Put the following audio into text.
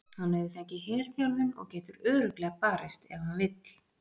Hann hefur fengið herþjálfun og getur örugglega barist ef hann vill.